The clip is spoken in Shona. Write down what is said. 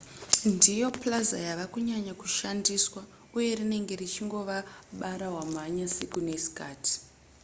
ndiyo plaza yava kunyanya kushandiswa uye rinenge richingova bara wamhanya siku nesikati